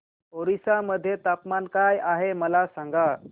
ओरिसा मध्ये तापमान काय आहे मला सांगा